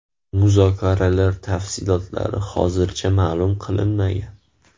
Muzokaralar tafsilotlari hozircha ma’lum qilinmagan.